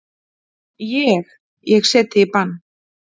Ég. ég set þig í bann!